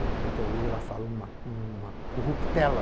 Tanto que até hoje ela fala uma uma corruptela,